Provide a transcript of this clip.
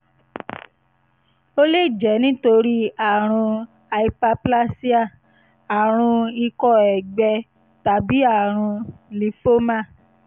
ó lè jẹ́ nítorí àrùn hyperplasia àrùn ikọ́ ẹ̀gbẹ tàbí àrùn lymphoma